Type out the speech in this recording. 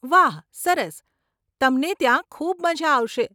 વાહ, સરસ, તમને ત્યાં ખૂબ મઝા આવશે.